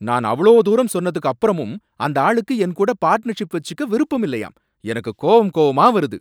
நான் அவ்ளோ தூரம் சொன்னதுக்கு அப்பறமும் அந்த ஆளுக்கு என் கூட பார்ட்னர்ஷிப் வச்சிக்க விருப்பம் இல்லையாம், எனக்கு கோவம் கோவமா வருது